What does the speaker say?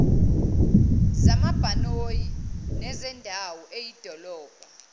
zamabhanoyi nezendawo eyidolobha